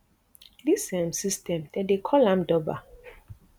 dis um system den dey call am durbar